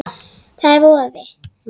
Það er voði